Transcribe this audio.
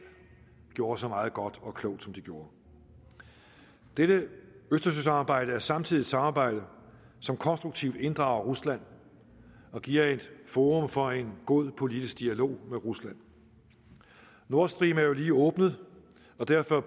gjorde så meget godt og klogt som de gjorde dette østersøsamarbejde er samtidig et samarbejde som konstruktivt inddrager rusland og giver et forum for en god politisk dialog med rusland nord stream er jo lige åbnet og derfor er